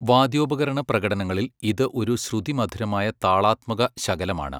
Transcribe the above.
വാദ്യോപകരണ പ്രകടനങ്ങളിൽ, ഇത് ഒരു ശ്രുതിമധുരമായ താളാത്മക ശകലമാണ്.